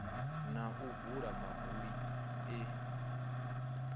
na u vula mabuli e